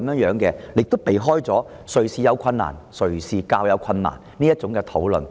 此舉可避免"誰有困難"、"誰有較大困難"的爭議。